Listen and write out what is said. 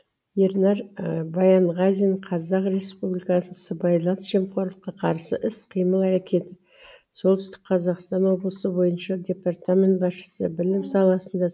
ернар баянғазин қазақ республикасы сыбайлас жемқорлыққа қарсы іс қимыл әрекетіп солтүстік қазақстан облысы бойынша департамент басшысы білім саласында